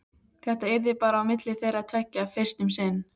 Þetta yrði bara á milli þeirra tveggja fyrst um sinn.